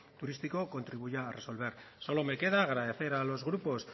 turístico contribuya a resolver solo me queda agradecer a los grupos